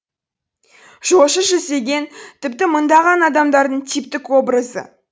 жошы жүздеген тіпті мыңдаған адамдардың типтік образы